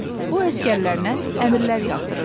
O əsgərlərinə əmirlər yağdırırdı.